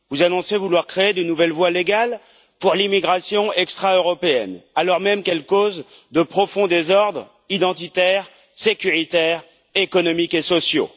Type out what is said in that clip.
Vous annoncez vouloir créer de nouvelles voies légales pour l'immigration extra européenne, alors même qu'elle cause de profonds désordres identitaires, sécuritaires, économiques et sociaux.